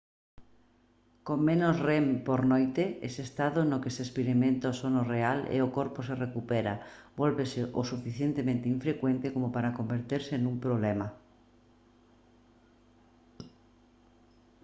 con menos rem por noite ese estado no que se experimenta o sono real e o corpo se recupera vólvese o suficientemente infrecuente como para converterse nun problema